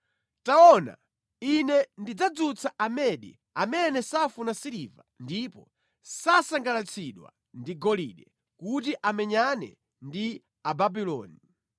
Taona, Ine ndidzadzutsa Amedi amene safuna siliva ndipo sasangalatsidwa ndi golide, kuti amenyane ndi Ababuloni.